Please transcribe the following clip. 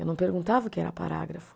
Eu não perguntava o que era parágrafo.